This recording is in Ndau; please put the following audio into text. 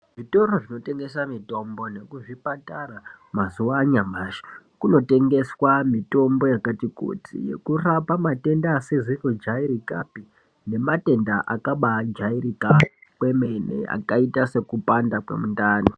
Zvitoro zvinotengesa mutombo nekuzviparata mazuwa anyamashi kunotengeswa mutombo yakati kuti yekurapa matenda asizi kujairika pe nematenda akabaajairika kwemene akaita sekupanda kwemunemundani.